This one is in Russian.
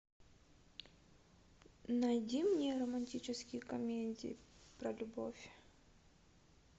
найди мне романтические комедии про любовь